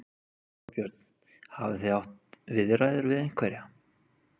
Þorbjörn: Hafið þið átt viðræður við einhverja?